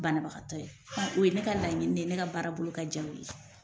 Banabagatɔ ye o ye ne ka laɲini de ye ne ka baarabolo ka diya u ye